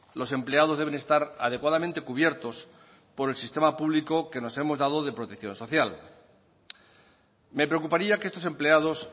los empleados deben estar adecuadamente cubiertos por el sistema público que nos hemos dado de protección social me preocuparía que estos empleados